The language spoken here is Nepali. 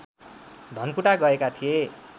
धनकुटा गएका थिए